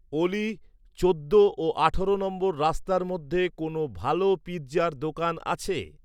অলি, চোদ্দ ও আঠারো নম্বর রাস্তার মধ্যে কোনও ভাল পিৎজার দোকান আছে